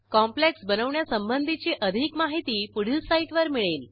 complex बनवण्यासंबंधी अधिक माहिती पुढील साईटवर मिळेल